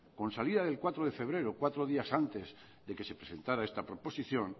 con salida del cuatro de febrero cuatro días después de que se presentara esta proposición